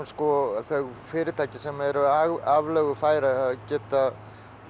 þau fyrirtæki sem eru aflögufær að geta